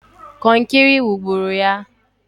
Kọnkịrị wugburu ya!